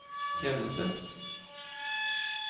tjeneste